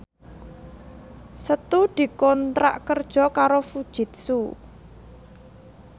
Setu dikontrak kerja karo Fujitsu